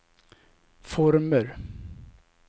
former